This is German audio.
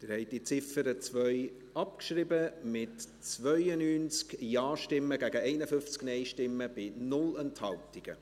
Sie haben die Ziffer 2 abgeschrieben, mit 92 Ja- gegen 51 Nein-Stimmen bei 0 Enthaltungen.